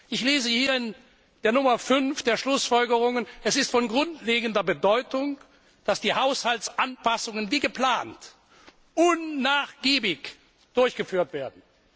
Ich lese hier in der Ziffer 5 der Schlussfolgerungen Es ist von grundlegender Bedeutung, dass die Haushaltsanpassungen wie geplant unnachgiebig durchgeführt werden.